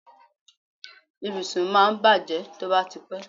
Ibùsùn máa ń bàjé tó bá ti pé.